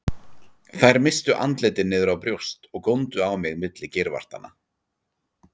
Þær misstu andlitin niður á brjóst og góndu á mig milli geirvartanna.